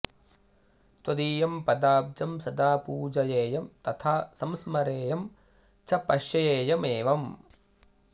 त्वदीयं पदाब्जं सदा पूजयेयं तथा संस्मरेयं च पश्येयमेवम्